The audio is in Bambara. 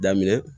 Daminɛ